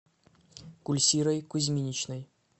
гульсирой кузьминичной